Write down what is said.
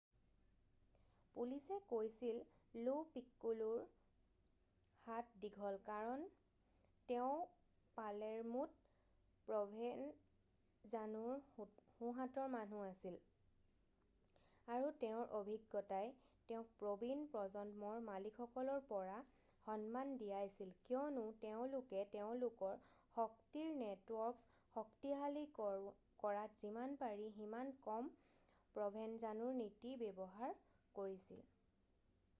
পুলিচে কৈছিল লো পিক্কোলোৰ হাত দীঘল কাৰণ তেওঁ পালেৰ্মোত প্ৰ'ভেনজানোৰ সোঁহাতৰ মানুহ আছিল আৰু তেওঁৰ অভিজ্ঞতাই তেওঁক প্ৰবীণ প্ৰজন্মৰ মালিকসকলৰ পৰা সন্মান দিয়াইছিল কিয়নো তেওঁলোকে তেওঁলোকৰ শক্তিৰ নেটৱৰ্ক শক্তিশালী কৰাত যিমান পাৰি সিমান কম প্ৰ'ভেনজানোৰ নীতি ব্যৱহাৰ কৰিছিল